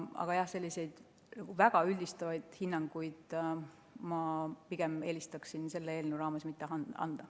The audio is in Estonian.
Aga jah, selliseid väga üldistavaid hinnanguid ma pigem eelistaksin selle eelnõu raames mitte anda.